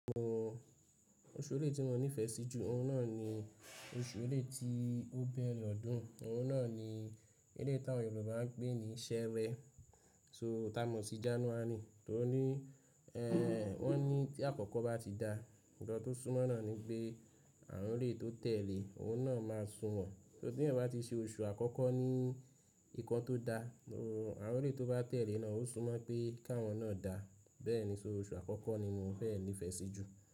Oṣù eléyìí tí mo nífẹ̀ẹ́ sí jù, oun náà ni oṣù eléyìí tí ó bẹ̀rẹ̀ ọdún, oun náà ni gẹ́gẹ́ bí tí àwọn Yorùbá ń pè ní Ṣẹ́rẹ́. So tá mọ̀ sí January tó ní, ẹ́ wọ́n ní tí àkọ́kọ́ bá ti da, nǹkan tó sunmọ́ náà ni pé awọ́n eléyìí tó tẹ̀lé, oun náà máa sunwọ̀n. So tí èèyàn bá ti ṣe oṣù àkọ́kọ́ ní nǹkan tó da, àwọ́n eléyìí tó bá tẹ̀lé náà ó sunmọ́ pé káwọn náà dá. Bẹ́ẹ̀ ni, so oṣù àkọ́kọ́ ni mo fẹ́ nífẹ̀ẹ́ sí jù.